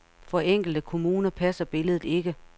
For enkelte kommuner passer billedet ikke.